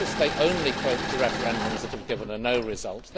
I notice they only quote the referendums that have given a no' result.